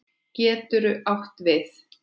Getur átt við